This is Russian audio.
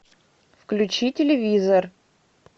включи телевизор